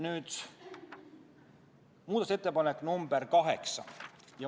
Nüüd muudatusettepanek nr 8.